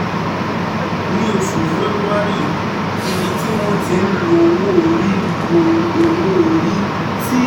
ní oṣù february, ibi tí wọ́n ti ń lo owó orí lo owó orí ti